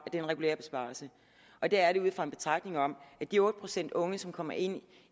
en regulær besparelse og det er det ud fra en betragtning om at de otte procent unge som kommer ind